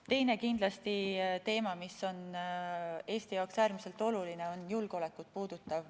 Teine teema, mis on kindlasti Eesti jaoks äärmiselt oluline, puudutab julgeolekut.